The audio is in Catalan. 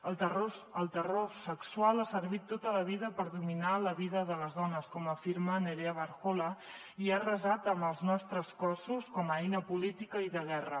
el terror sexual ha servit tota la vida per dominar la vida de les dones com afirma nerea barjola i ha arrasat amb els nostres cossos com a eina política i de guerra